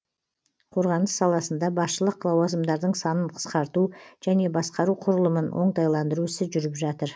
қорғаныс саласында басшылық лауазымдардың санын қысқарту және басқару құрылымын оңтайландыру ісі жүріп жатыр